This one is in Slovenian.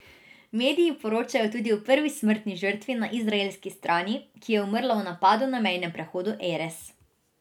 Mediji poročajo tudi o prvi smrtni žrtvi na izraelski strani, ki je umrla v napadu na mejnem prehodu Erez.